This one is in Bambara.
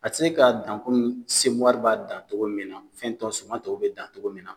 A tɛ se ka dan komi dan togo min na, fɛn tɔw suman tɔw bɛ dan togo min na.